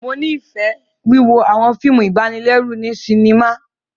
Mo nifẹ wíwo awọn fíìmù ibanilẹru ni sinima